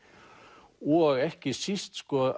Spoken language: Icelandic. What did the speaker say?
og ekki síst sko